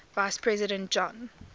vice president john